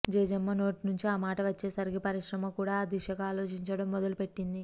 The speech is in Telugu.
జేజమ్మ నోటి నుంచి ఆ మాట వచ్చేసరికి పరిశ్రమ కూడా ఆ దిశగా ఆలోచించడం మొదలుపెట్టింది